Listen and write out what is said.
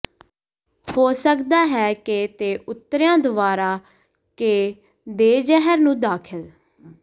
ਹੋ ਸਕਦਾ ਹੈ ਕਿ ਤੇ ਉਤਰਿਆ ਦੁਵਾਰਾ ਕੇ ਦੇਜ਼ਿਹਰ ਨੂੰ ਦਾਖਲ